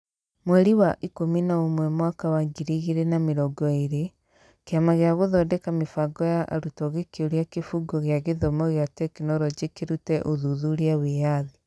Mweri wa ikũmi na ũmwe mwaka wa ngiri igĩrĩ na mĩrongo ĩĩrĩ, Kĩama gĩa Gũthondeka Mĩbango ya Arutwo gĩkĩũria Kĩbungo kĩa gĩthomo kĩa tekinoronjĩ kĩrute ũthuthuria wĩyathi.